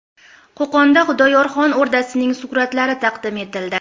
Qo‘qonda Xudoyorxon o‘rdasining suratlari taqdim etildi.